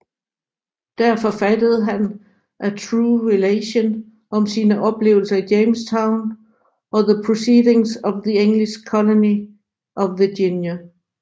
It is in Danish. Der forfattede han A True Relation om sine oplevelser i Jamestown og The Proceedings of the English Colony of Virginia